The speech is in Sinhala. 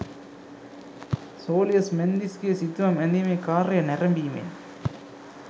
සෝලියස් මැන්දිස්ගේ සිතුවම් ඇඳීමේ කාර්යය නැරඹීමෙන්